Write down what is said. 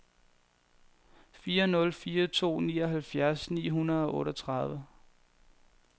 fire nul fire to nioghalvfjerds ni hundrede og otteogtredive